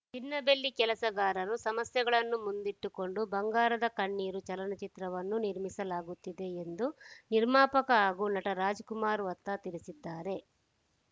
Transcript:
ಚಿನ್ನ ಬೆಳ್ಳಿ ಕೆಲಸಗಾರರ ಸಮಸ್ಯೆಗಳನ್ನು ಮುಂದಿಟ್ಟು ಕೊಂಡು ಬಂಗಾರದ ಕಣ್ಣೀರು ಚಲನಚಿತ್ರವನ್ನು ನಿರ್ಮಿಸಲಾಗುತ್ತಿದೆ ಎಂದು ನಿರ್ಮಾಪಕ ಹಾಗೂ ನಟ ರಾಜ್‌ಕುಮಾರ್‌ ವತ್ತ ತಿಳಿಸಿದ್ದಾರೆ